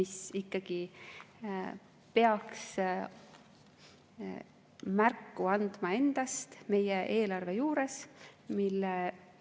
See ikkagi peaks endast meie eelarve juures märku andma.